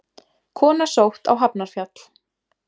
Kona sótt á Hafnarfjall